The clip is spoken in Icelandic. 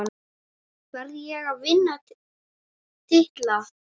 Verð ég að vinna titla?